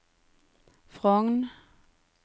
Frogn